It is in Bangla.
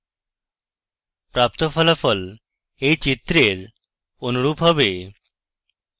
প্রাপ্ত ফলাফল এই চিত্রের অনুরূপ হবে